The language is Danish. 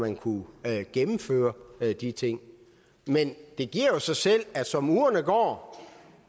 man kunne gennemføre de ting men det giver jo sig selv at som ugerne går